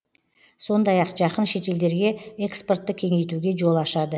сондай ақ жақын шетелдерге экспортты кеңейтуге жол ашады